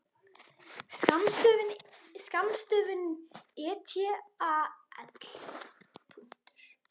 Skammstöfunin et al.